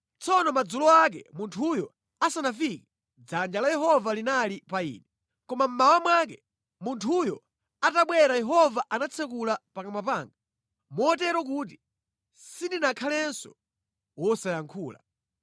Tsono madzulo ake munthuyo asanafike, dzanja la Yehova linali pa ine. Koma mmawa mwake munthuyo atabwera Yehova anatsekula pakamwa panga, motero kuti sindinakhalenso wosayankhula.